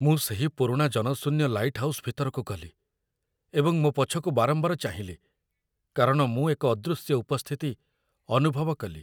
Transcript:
ମୁଁ ସେହି ପୁରୁଣା ଜନଶୂନ୍ୟ ଲାଇଟ୍‌ହାଉସ୍ ଭିତରକୁ ଗଲି, ଏବଂ ମୋ ପଛକୁ ବାରମ୍ବାର ଚାହିଁଲି କାରଣ ମୁଁ ଏକ ଅଦୃଶ୍ୟ ଉପସ୍ଥିତି ଅନୁଭବ କଲି।